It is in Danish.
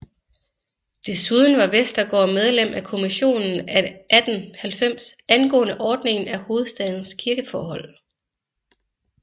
Desuden var Westergaard medlem af kommissionen af 1890 angående ordningen af hovedstadens kirkeforhold